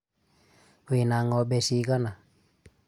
wĩ na ngombe cigana?